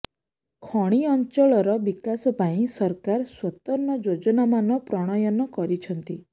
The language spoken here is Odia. ଖଣି ଅଞ୍ଚଳର ବିକାଶ ପାଇଁ ସରକାର ସ୍ୱତନ୍ତ୍ର ଯୋଜନାମାନ ପ୍ରଣୟନ କରିଛନ୍ତି